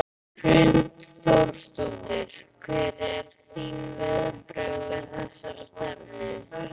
Hrund Þórsdóttir: Hver eru þín viðbrögð við þessari stefnu?